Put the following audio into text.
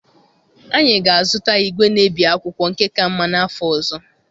Anyị ga-azụta igwe na-ebi akwụkwọ nke ka mma n'afọ ọzọ.